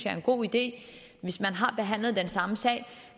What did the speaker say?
er en god idé hvis man har behandlet den samme sag